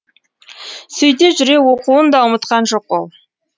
сөйте жүре оқуын да ұмытқан жоқ ол